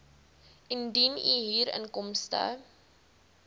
indien u huurinkomste